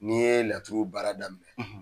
N'i ye laturu baara daminɛ, .